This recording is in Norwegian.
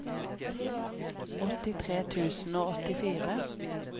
åttitre tusen og åttifire